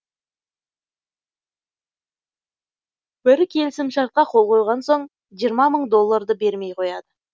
бірі келісімшартқа қол қойған соң жиырма мың долларды бермей қояды